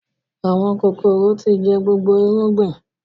Àwọn kòkòrò tí jẹ gbogbo irúgbìn